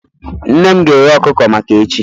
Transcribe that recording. Nne m ga-eghe ọkụkọ maka echi